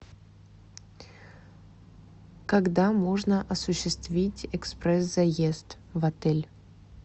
когда можно осуществить экспресс заезд в отель